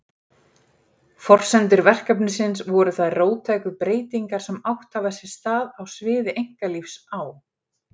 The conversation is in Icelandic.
Forsendur verkefnisins voru þær róttæku breytingar sem átt hafa sér stað á sviði einkalífs á